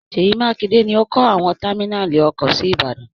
Ṣèyí Mákinde ní ọ kọ́ àwọn támínàlí ọkọ̀ sí Ìbàdàn.